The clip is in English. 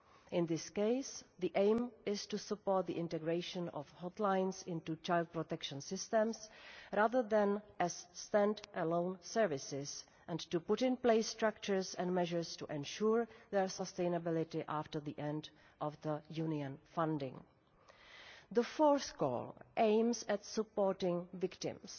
In this case, the aim is to support the integration of hotlines into child protection systems rather than have them as stand alone services, and to put in place structures and measures to ensure their sustainability after the end of the Union funding. The fourth call aims at supporting victims.